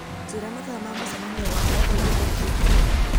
njĩra mathaa ma mũcemanio wakwa ũyũ ũũkĩte